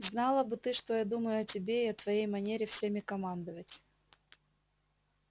знала бы ты что я думаю о тебе и о твоей манере всеми командовать